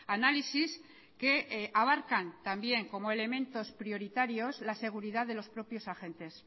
análisis que abarcan también como elementos prioritarios la seguridad de los propios agentes